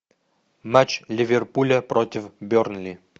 матч ливерпуля против бернли